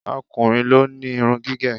O̩kùnrin ló ni irun gígè̩.